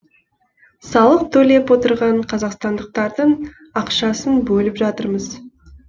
салық төлеп отырған қазақстандықтардың ақшасын бөліп жатырмыз